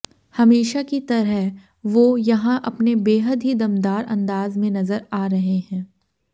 हमेशा की तरह वो यहां अपने बेहद ही दमदार अंदाज में नजर आ रहे हैं